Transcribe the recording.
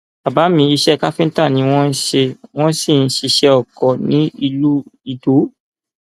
bàbá mi iṣẹ káfíńtà ni wọn ń ṣe wọn sì ń ṣiṣẹ oko ní ìlú idow